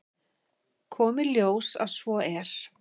Kom í ljós að svo er.